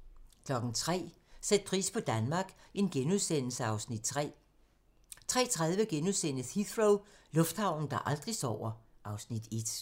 03:00: Sæt pris på Danmark (Afs. 3)* 03:30: Heathrow - lufthavnen, der aldrig sover (Afs. 1)*